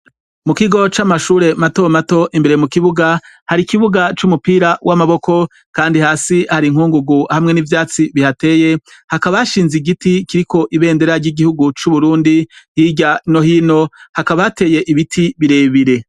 mu kigo c'amashure mato mato imbere mu kibuga hari ikibuga c'umupira w'amaboko kandi hasi hari inkungugu hamwe n'ivyatsi bihateye hakaba hashinze igiti kiriko ibendera ry'igihugu c'uburundi hirya no hino hakaba hateye ibiti birebire